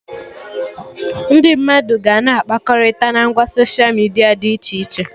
Ndị mmadụ ga-na akpakọrịta na ngwa soshia midia dị iche iche